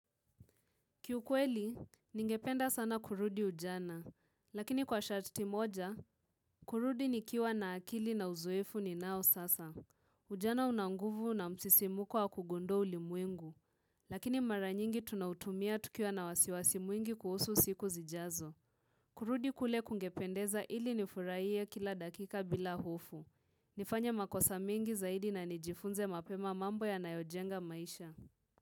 Kiukweli, ningependa sana kurudi ujana. Lakini kwa sharti moja, kurudi nikiwa na akili na uzoefu ninao sasa. Ujana una nguvu na msisimuko wa kugundua ulimwengu. Lakini mara nyingi tunautumia tukiwa na wasiwasi mwingi kuhusu siku zijazo. Kurudi kule kungependeza ili nifurahie kila dakika bila hofu. Nifanye makosa mengi zaidi na nijifunze mapema mambo yanayojenga maisha.